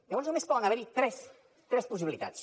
llavors només poden haver hi tres possibilitats